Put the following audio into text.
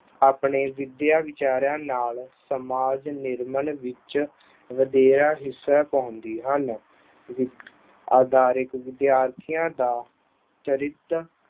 ਆਪਣੇ ਵਿੱਦਿਆ ਵਿਚਾਰਾਂ ਨਾਲ ਸਮਾਜ ਨਿਰਮਾਣ ਵਿੱਚ ਵਧੇਰੇ ਹਿੱਸਾ ਪਾਉਂਦੇ ਹਨ। ਅਧਾਰੀਕ ਵਿਦਿਆਰਥੀਆਂ ਦਾ ਚਰਿੱਤਰ